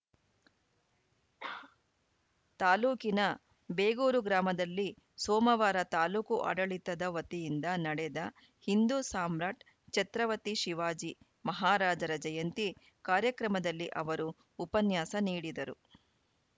ತಾಲೂಕಿನ ಬೇಗೂರು ಗ್ರಾಮದಲ್ಲಿ ಸೋಮವಾರ ತಾಲೂಕು ಆಡಳಿತದ ವತಿಯಿಂದ ನಡೆದ ಹಿಂದೂ ಸಾಮ್ರಾಟ್‌ ಛತ್ರವತಿ ಶಿವಾಜಿ ಮಹಾರಾಜರ ಜಯಂತಿ ಕಾರ‍್ಯಕ್ರಮದಲ್ಲಿ ಅವರು ಉಪನ್ಯಾಸ ನೀಡಿದರು